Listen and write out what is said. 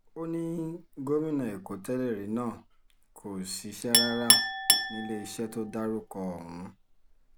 ó ní gómìnà èkó tẹ́lẹ̀rí náà kò ṣiṣẹ́ rárá níléeṣẹ́ tó dárúkọ ọ̀hún